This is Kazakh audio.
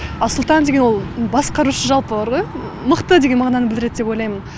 ал сұлтан деген ол басқарушы жалпы бар ғой мықты деген мағынаны білдіреді деп ойлаймын